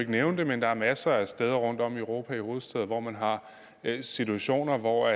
nævne det men der er masser af steder rundtom i europas hovedstæder hvor man har situationer hvor